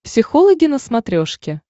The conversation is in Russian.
психологи на смотрешке